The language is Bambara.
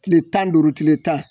Tile tan duuru tile tan